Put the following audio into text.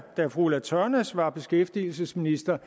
da fru ulla tørnæs var beskæftigelsesminister